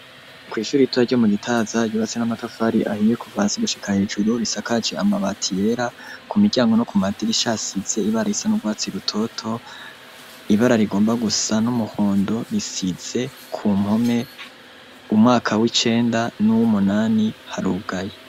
kw’ishure rito ryo mu gitaza ryubatse n'amatafari ahiye kuva hasi gushika hejuru bisakaje amabati yera, kumiryango no kumadirisha hasize ibara risa n'ugwatsi rutoto, ibara rigomba gusa n'umuhondo risize ku mpome umwaka w'icenda n'uw'umunani harugaye.